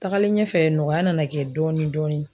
Takalen ɲɛfɛ nɔgɔya nana kɛ dɔɔni dɔɔni.